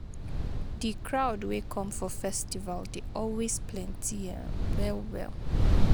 Di crowd wey come for festival dey always plenty um well well